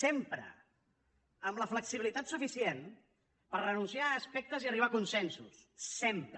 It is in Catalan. sempre amb la flexibilitat suficient per renunciar a aspectes i arribar a consensos sempre